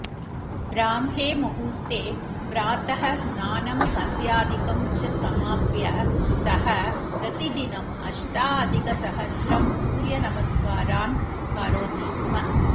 ब्राह्मे मुहूर्ते प्रातः स्नानं सन्ध्यादिकं च समाप्य सः प्रतिदिनम् अष्टाधिकसहस्रं सूर्यनमस्कारान् करोति स्म